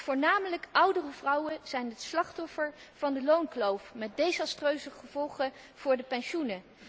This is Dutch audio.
Voornamelijk oudere vrouwen zijn het slachtoffer van de loonkloof met desastreuze gevolgen voor hun pensioen.